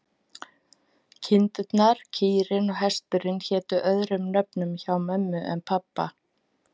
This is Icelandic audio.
Kindurnar, kýrin og hesturinn hétu öðrum nöfnum hjá mömmu en pabba.